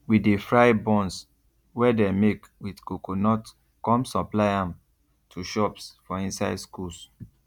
we de fry buns wey dey make with coconut come supply am to shops for inside schools